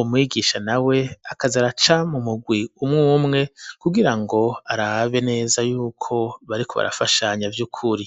umwigisha na we akaza araca mu mugwi umwo umwe kugira ngo arabe neza yuko bari ko ba fashanya vy' ukuri.